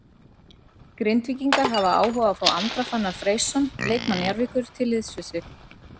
Grindvíkingar hafa áhuga á að fá Andra Fannar Freysson leikmann Njarðvíkur til liðs við sig.